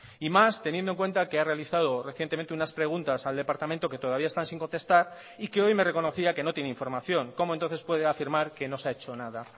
y más teniendo en cuenta que ha realizado recientemente unas preguntas al departamento que todavía están sin contestar y que hoy me reconocía que no tiene información cómo entonces puede afirmar que no se ha hecho nada